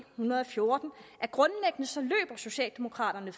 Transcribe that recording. hundrede og fjorten at socialdemokraterne